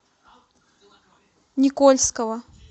никольского